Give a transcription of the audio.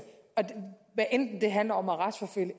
hvad enten det handler om at retsforfølge